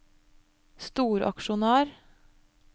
storaksjonær